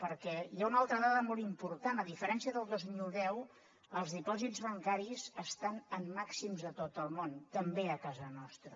perquè hi ha una altra dada molt important a diferència del dos mil deu els dipòsits bancaris estan en màxims a tot el món també a casa nostra